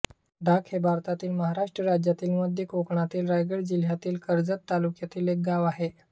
ढाक हे भारतातील महाराष्ट्र राज्यातील मध्य कोकणातील रायगड जिल्ह्यातील कर्जत तालुक्यातील एक गाव आहे